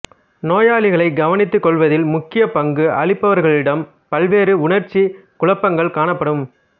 நோயாளிகளை கவனித்துக் கொள்வதில் முக்கிய பங்கு அளிப்பவர்களிடமும் பல்வேறு உணர்ச்சிக் குழப்பங்கள் காணப்படும்